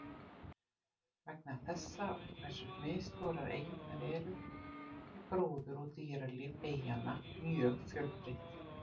Vegna þessa og hversu misstórar eyjurnar eru, er gróður og dýralíf eyjanna mjög fjölbreytt.